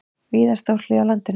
Víða stórhríð á landinu